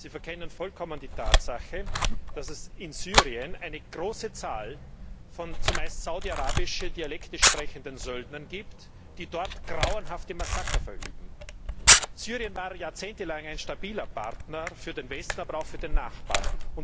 Sie verkennen vollkommen die Tatsache, dass es in Syrien eine große Zahl von zumeist saudi arabische Dialekte sprechenden Söldnern gibt, die dort grauenhafte Massaker verüben. Syrien war jahrzehntelang ein stabiler Partner für den Westen, aber auch für den Nachbarn.